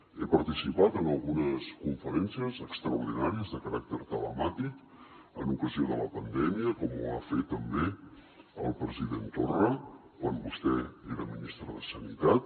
he participat en algunes conferències extraordinàries de caràcter telemàtic en ocasió de la pandèmia com ho va fer també el president torra quan vostè era ministre de sanitat